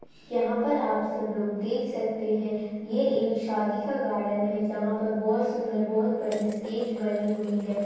यहाँ पर आप सब लोग देख सकते है ये एक शादी का गार्डन है जहा पर बहोत सुंदर बहोत बड़ी स्टेज बनी हुई है।